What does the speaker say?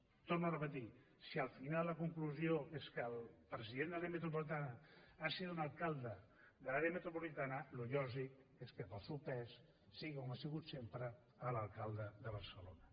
ho torno a repetir si al final la conclusió és que el president de l’àrea metropolitana ha de ser un alcalde de l’àrea metropolitana el lògic és que pel seu pes sigui com ho ha sigut sempre l’alcalde de barcelona